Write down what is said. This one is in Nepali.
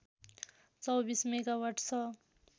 २४ मेगावाट छ